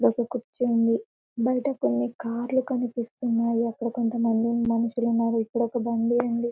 ఇక్కడయొక్క కుర్చివుంది బైట కొన్ని కార్లు కనిపిస్తున్నాయి అక్కడ కొంతమంది మనిషులు ఉన్నారు ఇక్కడ ఒక బండి ఉంది.